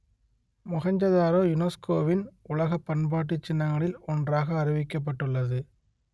மொகெஞ்சதாரோ யுனெஸ்கோவின் உலகப் பண்பாட்டுச் சின்னங்களில் ஒன்றாக அறிவிக்கப்பட்டுள்ளது